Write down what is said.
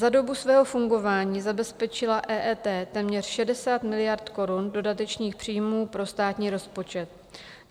Za dobu svého fungování zabezpečila EET téměř 60 miliard korun dodatečných příjmů pro státní rozpočet.